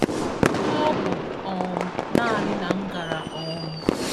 m'ọbụ um nanị na m gàrà um